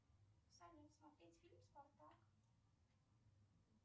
салют смотреть фильм спартак